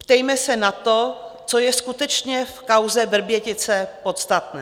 Ptejme se na to, co je skutečně v kauze Vrbětice podstatné.